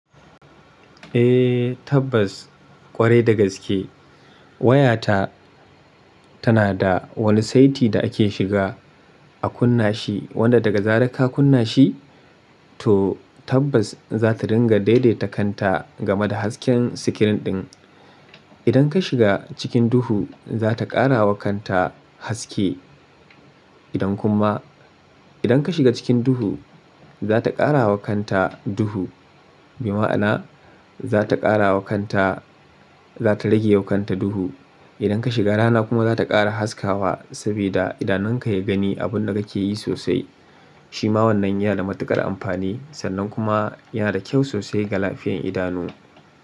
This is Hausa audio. Eh tabbas ƙwarai dagaske waya ta tana da wani saiti da ake shiga a kunna shi wanda daga zarar ka kunna shi to tabbas za ta ringa daidaita kanta game da hasken sikirin ɗin. Idan ka shiga cikin duhu, za ta ƙara wa kanta haske, idan kuma-- idan ka shiga cikin duhu, za ta ƙara wa kanta duhu. Bi ma'ana za ta ƙara wa kanta, za ta rage wa kanta duhu. Idan ka shiga rana kuma za ta ƙara haskawa saboda idanun ka ya gani abun da ka ke yi sosai. Shi ma wannan yana da matuƙar amfani sannan kuma yana da kyau sosai ga lafiyan idanu.